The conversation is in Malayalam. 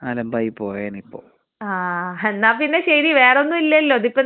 ആഹ് എന്നാ പിന്നെ ശരി വേറൊന്നും ഇല്ലല്ലോ ഇതിപ്പോ നീ എന്തായാലും മോനെ വിളിച്ച് പറ.